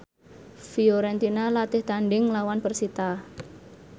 Fiorentina latih tandhing nglawan persita